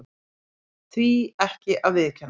Því ekki að viðurkenna það.